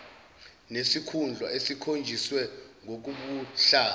nesikhundla esikhonjiswe ngokobuhlanga